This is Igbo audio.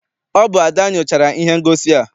Ọ bụ Ada nyochara ihe ngosi a.